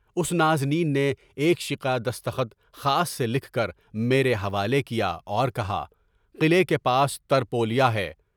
اس نازنین نے ایک شقہ دستخط خاص سے لکھ کر میرے حوالے کیا اور کہا، "قلعے کے پاس تارپولیا ہے۔"